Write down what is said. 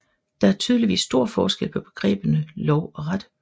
Der er tydeligvis stor forskel på begreberne lov og ret